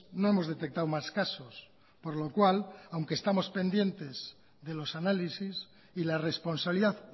no hemos detectado más casos por lo cual aunque estamos pendientes de los análisis y la responsabilidad